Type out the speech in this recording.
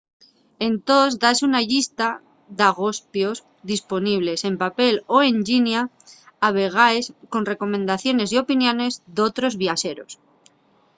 entós dase una llista d'agospios disponibles en papel o en llinia a vegaes con recomendaciones y opiniones d'otros viaxeros